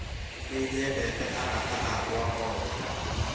Nĩ nyendete arata akwa othe